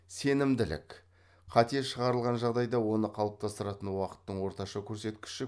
сенімділік қате шығарылған жағдайда оны қалыптастыратын уақыттың орташа көрсеткіші